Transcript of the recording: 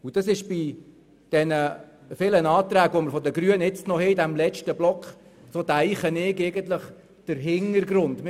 Diese Haltung ist aus meiner Sicht der Hintergrund der hier in diesem letzten Block verbleibenden Anträge der Grünen.